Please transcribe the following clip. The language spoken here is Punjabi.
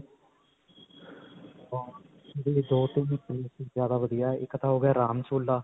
ਦੋ-ਤਿੰਨ places ਜਿਆਦਾ ਵਧੀਆ ਹੈ. ਇੱਕ ਤਾਂ ਹੋ ਗਿਆ ਰਾਮ ਝੂਲਾ.